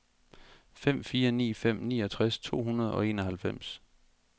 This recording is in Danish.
fem fire ni fem niogtres to hundrede og enoghalvfems